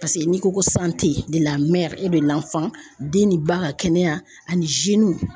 Paseke n'i ko ko san tɛ lamɛn e be nafan den ni ba ka kɛnɛya ani